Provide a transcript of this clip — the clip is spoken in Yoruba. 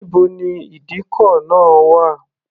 Níbo ni ìdíkọ̀ náà wà?